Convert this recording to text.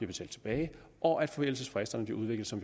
betalt tilbage og at forældelsesfristerne bliver udvidet så